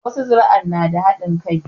Wasu zuri'an na da haɗin kai